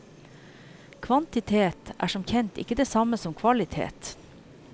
Kvantitet er som kjent ikke det samme som kvalitet.